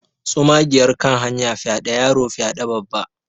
tsumagiyar kan hanya fyaɗe yaro fyaɗe Babba